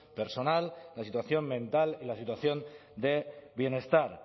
personal la situación mental y la situación de bienestar